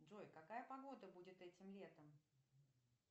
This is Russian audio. джой какая погода будет этим летом